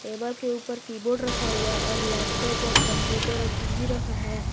Table के ऊपर keyboard रखा हुआ है और लैपटॉप और कंप्यूटर और टी_वी रखा हुआ हैं।